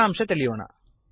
ಸಾರಾಂಶ ತಿಳಿಯೋಣ